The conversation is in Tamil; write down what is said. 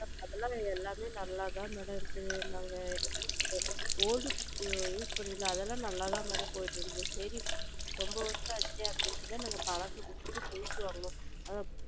எல்லாமே நல்லா தான் mam இருக்கு நாங்க வச்சு இருக்கிறது old fridge நாங்க use பண்ணுனது அதலாம் நல்லா தான் mam போய் கிட்டு இருந்துச்சு சரி ரொம்ப வருஷம் ஆயிடுச்சே அப்படின்னு தான் நாங்க பலச குடுத்து புதுசு வாங்கினோம் அது,